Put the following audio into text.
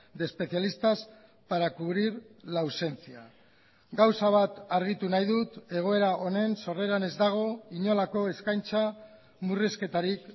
de especialistas para cubrir la ausencia gauza bat argitu nahi dut egoera honen sorreran ez dago inolako eskaintza murrizketarik